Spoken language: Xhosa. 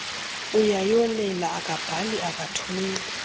uyayolela akabhali akathumeli